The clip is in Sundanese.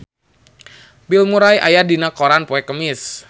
Bill Murray aya dina koran poe Kemis